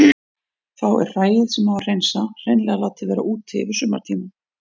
Þá er hræið sem á að hreinsa hreinlega látið vera úti yfir sumartímann.